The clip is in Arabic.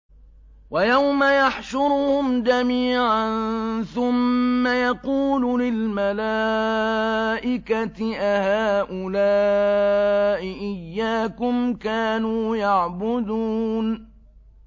وَيَوْمَ يَحْشُرُهُمْ جَمِيعًا ثُمَّ يَقُولُ لِلْمَلَائِكَةِ أَهَٰؤُلَاءِ إِيَّاكُمْ كَانُوا يَعْبُدُونَ